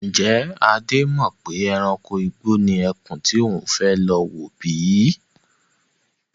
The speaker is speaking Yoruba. Ń jẹ́ Adé mọ pè ẹranko igbó ni ẹkún tí ó fẹ́ lọ wò bíi?